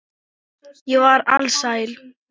Ég var alsæl.